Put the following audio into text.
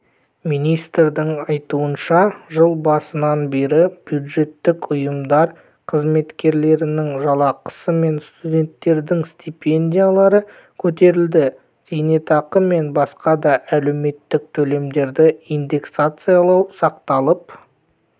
министрдің айтуынша жыл басынан бері бюджеттік ұйымдар қызметкерлерінің жалақысы мен студенттердің стипендиялары көтерілді зейнетақы мен басқа да әлеуметтік төлемдерді инденсакциялау сақталып